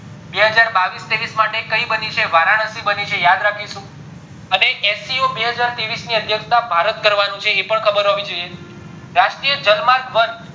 બેહજાર બાવીસ ત્રેવીસ માટે કય બની છે વારાણસી બની છે યાદ રાખીશું અને seo ની અધ્યક્ષતા ભારત કરવાનું છે એ પણ ખબર હોવી જોઈએ રશ્ર્તીય લામાર્ગ વન